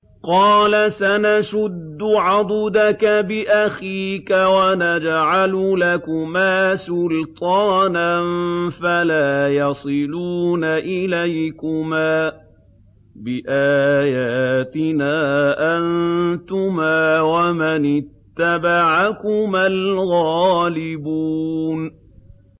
قَالَ سَنَشُدُّ عَضُدَكَ بِأَخِيكَ وَنَجْعَلُ لَكُمَا سُلْطَانًا فَلَا يَصِلُونَ إِلَيْكُمَا ۚ بِآيَاتِنَا أَنتُمَا وَمَنِ اتَّبَعَكُمَا الْغَالِبُونَ